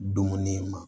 Dumuni ma